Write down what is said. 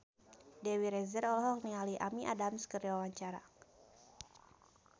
Dewi Rezer olohok ningali Amy Adams keur diwawancara